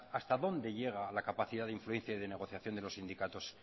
hasta dónde llega la capacidad de influencia y de negociación de los sindicatos